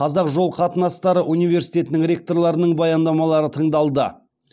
қазақ жол қатынастары университетінің ректорларының баяндамалары тыңдалды